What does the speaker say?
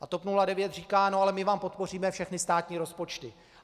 A TOP 09 říká: No ale my vám podpoříme všechny státní rozpočty.